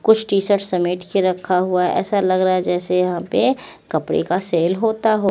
कुछ टीशर्टस समेट के रखा हुआ है ऐसा लग रहा है जैसे यहाँ पे कपड़े का सेल होता हो।